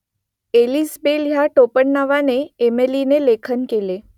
Ellis Bell या टोपणनावाने एमिलीने लेखन केले